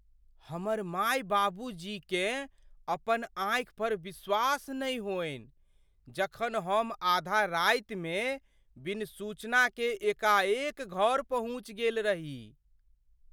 हमर माय बाबूजीकेँ अपन आँखि पर विश्वास नहि होइन जखन हम आधा रातिमे बिनु सूचनाकेँ एकाएक घर पहुँचि गेल रही।